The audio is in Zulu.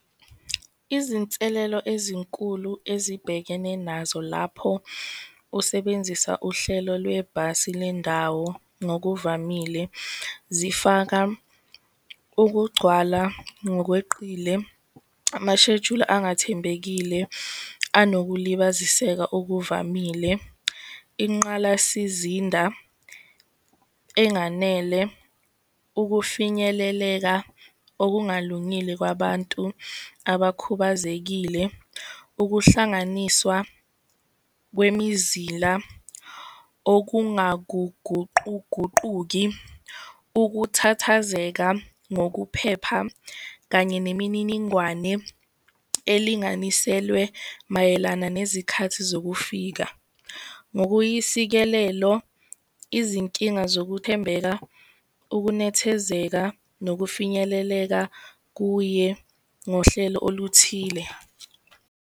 Izinselelo ezinkulu ezibhekene nazo lapho usebenzisa uhlelo lwebhasi lendawo, ngokuvamile zifaka ukugcwala ngokweqile, aashejuli angathembekile anokulibaziseka okuvamile, inqalasizinda enganele, ukufinyeleleka okungalungile kwabantu abakhubazekile, ukuhlanganiswa kwemizila okungaguguquguquki, ukuthathazeka ngokuphepha, kanye nemininingwane elinganiselwe mayelana nezikhathi zokufika. Ngokuyisikelelo, izinkinga zokuthembeka, ukunethezeka, nokufinyeleleka kuye ngohlelo oluthile.